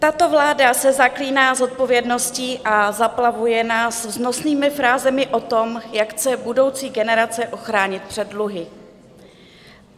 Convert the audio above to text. Tato vláda se zaklíná zodpovědností a zaplavuje nás vznosnými frázemi o tom, jak chce budoucí generace ochránit před dluhy.